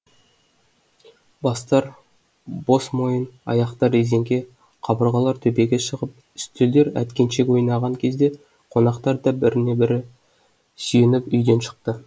бастар бос мойын аяқтар резеңке қабырғалар төбеге шығып үстелдер әткеншек ойнаған кезде қонақтар да біріне бірі сүйеніп үйден шықты